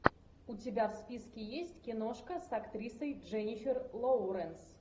у тебя в списке есть киношка с актрисой дженнифер лоуренс